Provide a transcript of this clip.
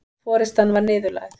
Forystan var niðurlægð